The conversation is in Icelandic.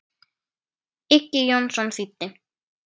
Uggi Jónsson þýddi.